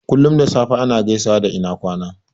Kullum da safe ana gaisawa da "ina kwana"